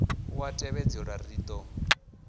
u a tevhedzelwa ri do